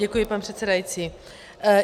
Děkuji, pane předsedající.